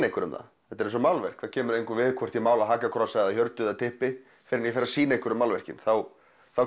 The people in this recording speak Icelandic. einhverjum það þetta er eins og málverk það kemur engum við hvort ég mála hakakross eða hjörtu eða typpi fyrr en ég sýni einhverjum málverkið þá